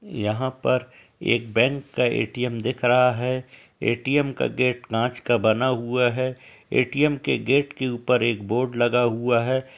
यहाँ पर एक बैंक का ए.टी.एम. दिख रहा है। ए.टी.एम. का गेट कांच का बना हुआ है। ए.टी.एम. के गेट के ऊपर एक बोर्ड लगा हुआ है।